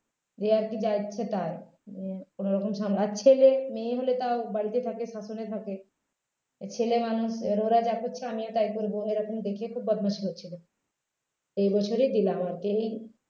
এই আর কি যা ইচ্ছে তার উম আর কোনোরকম সামলানো আর ছেলে মেয়ে হলে তও বাড়িতে থাকে শাসনে থাকে এই ছেলে মানুষ এবার ওরা যা করছে আমিও তাই করবো এরকম দেখেই তো বদমাশি করছিলো এই বছরেই দিলাম আর কি এই